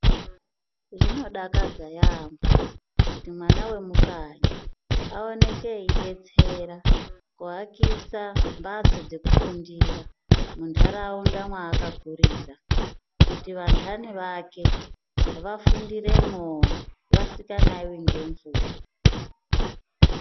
Zvinodakadza yaamho kuti mwana vemukanyi aoneke eibetsera kuvakisa mbatso dzekufundira munharaunda maakakurura. Kuti vandani vake vafundiremwovo vasikanaivi ngemvura.